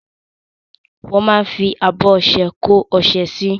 Wọ́n máa ń fi abọ́ ọṣẹ kó ọṣẹ sí.